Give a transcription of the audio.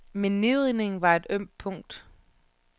Men nedrivningen er et ømt punkt.